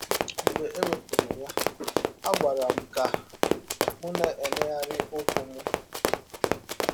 Mgbe e wepụrụ ya, a gwara m ka m na - emegharị ụkwụ m.